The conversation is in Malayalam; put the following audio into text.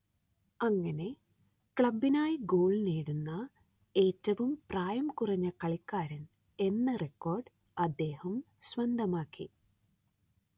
അങ്ങനെ ക്ലബ്ബിനായി ഗോൾ നേടുന്ന ഏറ്റവും പ്രായം കുറഞ്ഞ കളിക്കാരൻ എന്ന റെക്കോർഡ് അദ്ദേഹം സ്വന്തമാക്കി